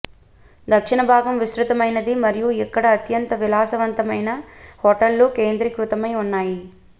దక్షిణ భాగం విస్తృతమైనది మరియు ఇక్కడ అత్యంత విలాసవంతమైన హోటళ్ళు కేంద్రీకృతమై ఉన్నాయి